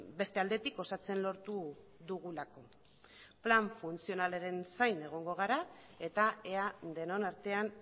beste aldetik osatzen lortu dugulako plan funtzionalaren zain egongo gara eta ea denon artean